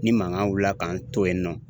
Ni mankan wulila ka n to yen nɔ